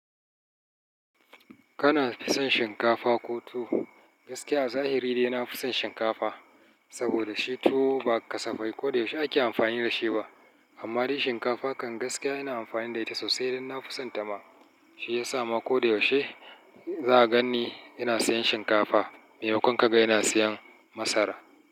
Kana fison shinkafa ko tuwo? Gaskiya a zahiri dai na fi son shinkafa. Saboda shi tuwo ba kasafai ko da yaushe ake amfani da shi ba. Amma dai shinkafa kan gaskiya ina amfani da ita sosai idan na fi santa ma. Shi ya sa ma ko da yaushe za ka gan ni ina siyan shinkafa. Mai makon ka ga ina siyan masara.